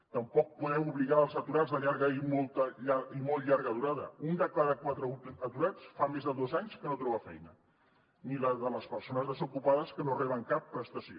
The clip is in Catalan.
tampoc podem obligar els aturats de llarga i molt llarga durada un de cada quatre aturats fa més de dos anys que no troba feina ni la de les persones desocupades que no reben cap prestació